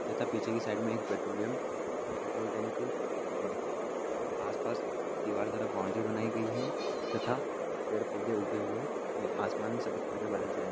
तथा पीछे की साइड में एक पेट्रोलियम पेट्रोल टैंक है । आस पास दीवार तरफ बाउंड्री बनाई गई है तथा पेड़ पौधे उगे हुए हैं आसमान मे सफेद कलर के बादल हैं ।